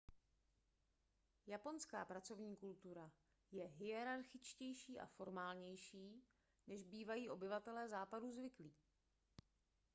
japonská pracovní kultura je hierarchičtější a formálnější než bývají obyvatelé západu zvyklí